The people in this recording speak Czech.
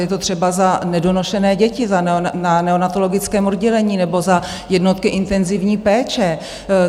Je to třeba za nedonošené děti na neonatologickém oddělení nebo za jednotky intenzivní péče.